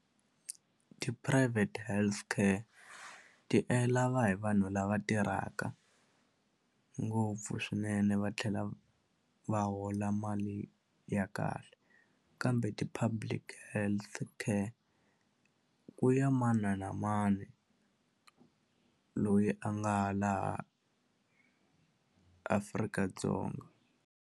Ti-private healthcare ti lava hi vanhu lava tirhaka ngopfu swinene va tlhela va hola mali ya kahle kambe ti-public health care ku ya mani na mani loyi a nga laha Afrika-Dzonga.